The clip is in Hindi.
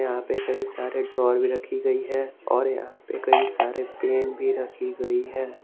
यहां पे कई सारे ड्रावर भी रखी गई है और यहां पे कई सारे पेन भी रखी गई है।